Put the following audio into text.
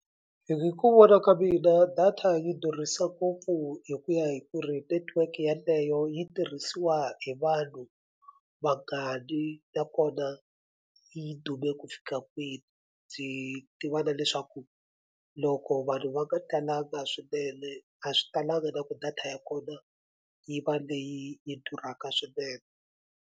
Hi ku vona ka mina data yi durhisa ngopfu hi ku ya hi ku ri network yaleyo yi tirhisiwa hi vanhu vangani nakona yi dume ku fika kwini ndzi tiva na leswaku loko vanhu va nga talanga swinene a swi talanga na ku data ya kona yi va leyi yi yi durhaka swinene.